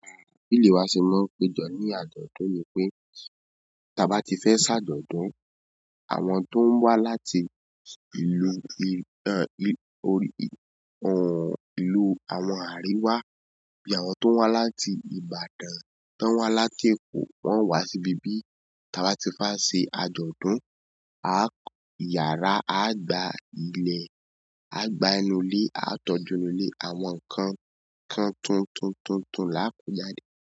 Àwọn ìdílé wa sì máa ń péjọ ní àjọ̀dún ni pé tí a bá ti fẹ́ ṣàjọ̀dún, àwọn tó ń wá láti ìlú orí ohùn ìlú àwọn àríwá, bí àwọn tó ń wá láti Ìbàdàn, tó ń wá láti Èkó, wọ́n wá sí ibi bí tí a bá ti fẹ́ ṣe àjọ̀dún. A kọ yàrá, a gba ilẹ̀, a gba inú ilé, a tọ́jú inú ilé, àwọn ǹkan kan tuntun tuntun láa kojáde.